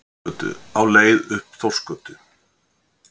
Óðinsgötu, á leið upp Þórsgötu.